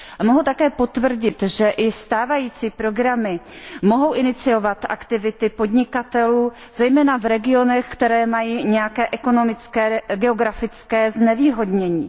Mohu také potvrdit, že i stávající programy mohou iniciovat aktivity podnikatelů zejména v regionech, které mají nějaké ekonomické nebo geografické znevýhodnění.